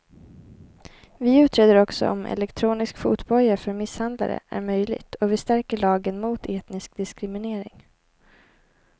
Vi utreder också om elektronisk fotboja för misshandlare är möjligt och vi stärker lagen mot etnisk diskriminering.